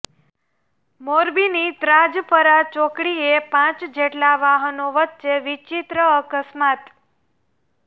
મોરબીની ત્રાજપર ચોકડીએ પાંચ જેટલા વાહનો વચ્ચે વિચિત્ર અકસ્માત